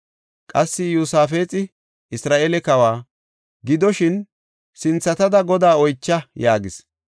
Qassi, Iyosaafexi Isra7eele kawa, “Gidoshin, sinthatada Godaa oycha” yaagis.